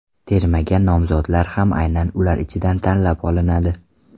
Termaga nomzodlar ham aynan ular ichidan tanlab olinadi.